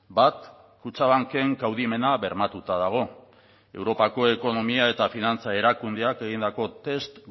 bat kutxabanken kaudimena bermatuta dago europako ekonomia eta finantza erakundeak egindako test